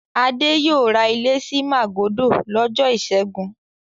Adé yóò ra ilé sí Màgódò lọ́jọ́ ìṣẹ́gun.